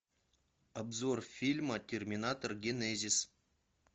обзор фильма терминатор генезис